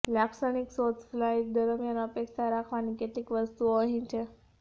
લાક્ષણિક શોધ ફ્લાઇટ દરમિયાન અપેક્ષા રાખવાની કેટલીક વસ્તુઓ અહીં છે